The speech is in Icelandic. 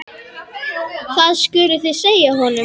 Það skuluð þið segja honum!